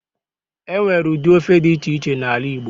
Enwere ụdị ofe dị iche iche n'ala igbo